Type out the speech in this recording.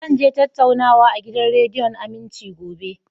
Zan je tattaunawa a gidan rediyon Aminci, gobe